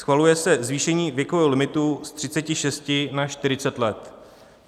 Schvaluje se zvýšení věkového limitu z 36 na 40 let.